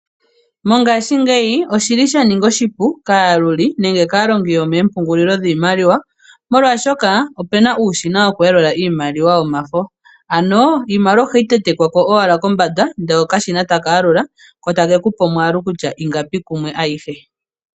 Mongashingeyi, oshi li sha ninga oshipu kaayaluli nenge kaalongi yomeempungulilo dhiimaliwa, molwashoka ope na uushina woku yaula iimaliwa yomafo. Ano iimaliwa oha yi tentekwa ko owala kombanda, ko okashina take ku pe omwaalu kutya ingapi kumwe ayihe.